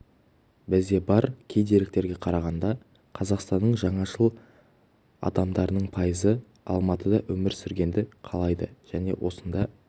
бізде бар кей деректерге қарағанда қазақстанның жаңашыл адамдарының пайызы алматыда өмір сүргенді қалайды және осында